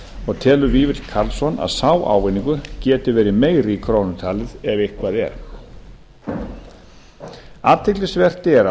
og telur vífill karlsson að sá ávinningur geti verið meiri í krónum talið ef eitthvað er athyglisvert er að